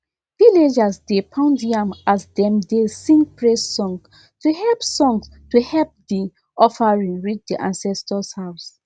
villagers dey pound yam as dem dey sing praise song to help song to help the offering reach the ancestors house